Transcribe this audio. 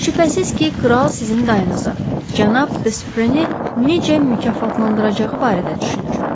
Şübhəsiz ki, kral sizin dayınıza, cənab Defreni necə mükafatlandıracağı barədə düşünür.